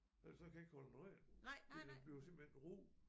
Ellers så kan jeg ikke holde den ren det den bliver simpelthen ru